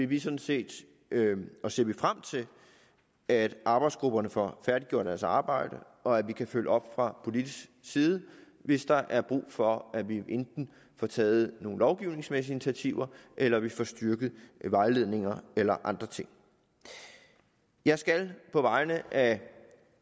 vi sådan set frem til at arbejdsgrupperne får færdiggjort deres arbejde og at vi kan følge op fra politisk side hvis der er brug for at vi enten får taget nogle lovgivningsmæssige initiativer eller at vi får styrket vejledninger eller andre ting jeg skal på vegne af